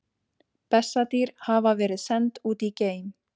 Bessadýr hafa verið send út í geim!